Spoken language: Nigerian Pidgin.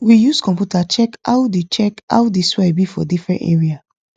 we use computer check how the check how the soil be for different area